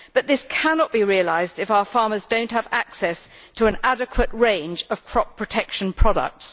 But this cannot be realised if our farmers do not have access to an adequate range of crop protection products.